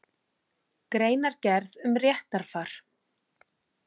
Greinargerð um réttarfar.